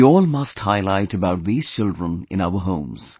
We all must highlight about these children in our homes